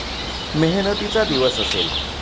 मेहनतीचा दिवस असेल.